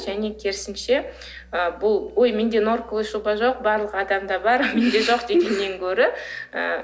және керісінше ы бұл ой менде норковая шуба жоқ барлық адамда бар менде жоқ дегеннен гөрі ы